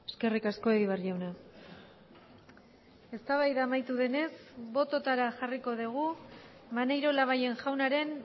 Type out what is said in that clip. eskerrik asko egibar jauna eztabaida amaitu denez bototara jarriko dugu maneiro labayen jaunaren